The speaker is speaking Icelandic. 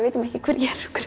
vitum ekki hver